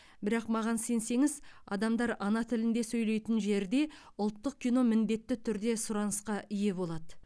бірақ маған сенсеңіз адамдар ана тілінде сөйлейтін жерде ұлттық кино міндетті түрде сұранысқа ие болады